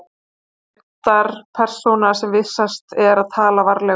Hann er reyndar persóna sem vissast er að tala varlega um.